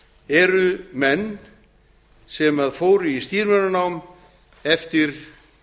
eru menn sem fóru í stýrimannanám eftir